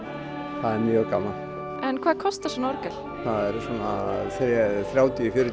það er mjög gaman hvað kostar svona orgel það eru svona þrjátíu til fjörutíu